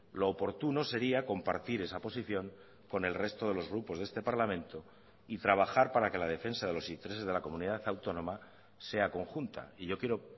lo oportuno sería compartir esa posición con el resto de los grupos de este parlamento y trabajar para que la defensa de los intereses de la comunidad autónoma sea conjunta y yo quiero